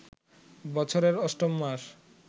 বছরের অষ্টম মাস